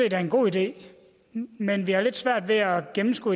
er en god idé men vi har lidt svært ved at gennemskue